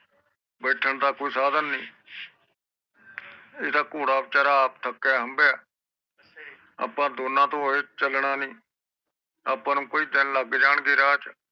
ਬੈਠਣ ਦਾ ਕੋਈ ਸਾਧਾਂ ਨੀ ਘੋੜਾ ਬੀਚਾਰਾ ਆਪ ਥੱਕਿਆ ਹਮਬੀਆਂ ਆਪ ਤੋਂ ਇਹ ਚਲਣਾ ਨੀ ਆਪ ਨੂੰ ਕਈ ਦਿਨ ਲੱਗ ਜਾਣਗੇ ਰਾਹ ਚ